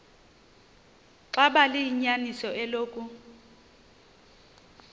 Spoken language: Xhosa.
xaba liyinyaniso eloku